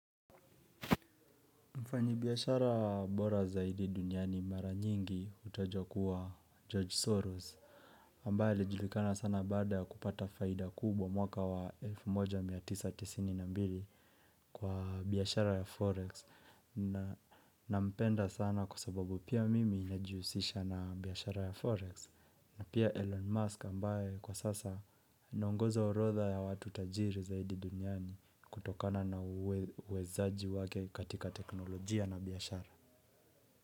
Mfanyibiashara bora zaidi duniani mara nyingi utojo kuwa George Soros ambaye ilijulikana sana baada ya kupata faida kubwa mwaka wa elfu moja mia tisa tisini na mbili Kwa biashara ya Forex nampenda sana kwa sababu pia mimi najiusisha na biashara ya Forex na pia Elon Musk ambaye kwa sasa anaongoza orotha ya watu tajiri zaidi duniani kutokana na uwezaji wake katika teknolojia na biashara.